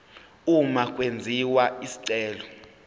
uma kwenziwa isicelo